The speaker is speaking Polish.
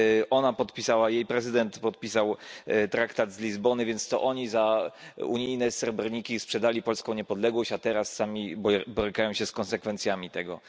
Ona podpisała, jej prezydent podpisał traktat z Lizbony, więc to oni za unijne srebrniki sprzedali polską niepodległość, a teraz sami borykają się z konsekwencjami tego.